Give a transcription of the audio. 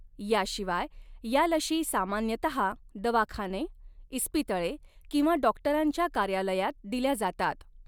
याशिवाय, या लशी सामान्यतः दवाखाने, इस्पितळे किंवा डाॅक्टरांच्या कार्यालयांत दिल्या जातात.